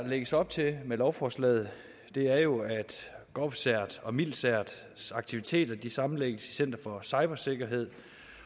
lægges op til med lovforslaget er jo at govcerts og milcerts aktiviteter sammenlægges i center for cybersikkerhed